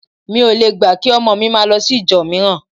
Mi ò le gbà kí ọmọ mi máa lọ sí ìjọ mìíràn